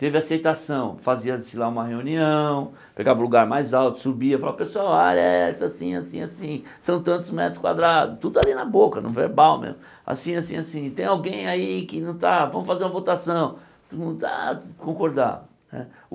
Teve aceitação, fazia-se lá uma reunião, pegava o lugar mais alto, subia, falava, pessoal, a área é essa, assim, assim, assim, são tantos metros quadrados, tudo ali na boca, no verbal mesmo, assim, assim, assim, tem alguém aí que não está, vamos fazer uma votação, não está, concordar né.